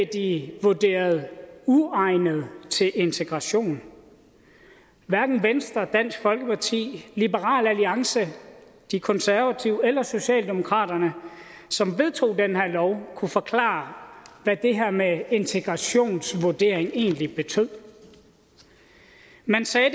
de vurderet uegnede til integration hverken venstre dansk folkeparti liberal alliance de konservative eller socialdemokraterne som vedtog den her lov kunne forklare hvad det her med integrationsvurdering egentlig betød man sagde